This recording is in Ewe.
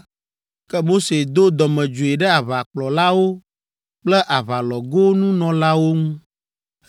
ke Mose do dɔmedzoe ɖe aʋakplɔlawo kple aʋalɔgonunɔlawo ŋu.